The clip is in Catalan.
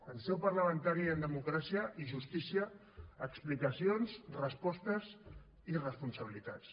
en seu parlamentària i en democràcia i justícia explicacions respostes i responsabilitats